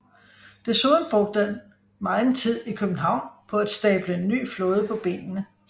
Desuden brugte han megen tid i København på at stable en ny flåde på benene